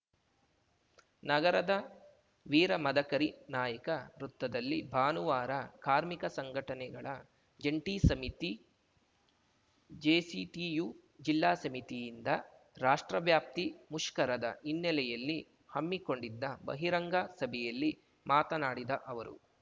ನಗರದ ವೀರ ಮದಕರಿ ನಾಯಕ ವೃತ್ತದಲ್ಲಿ ಭಾನುವಾರ ಕಾರ್ಮಿಕ ಸಂಘಟನೆಗಳ ಜಂಟಿ ಸಮಿತಿಜೆಸಿಟಿಯು ಜಿಲ್ಲಾ ಸಮಿತಿಯಿಂದ ರಾಷ್ಟ್ರವ್ಯಾಪ್ತಿ ಮುಷ್ಕರದ ಹಿನ್ನೆಲೆಯಲ್ಲಿ ಹಮ್ಮಿಕೊಂಡಿದ್ದ ಬಹಿರಂಗ ಸಭೆಯಲ್ಲಿ ಮಾತನಾಡಿದ ಅವರು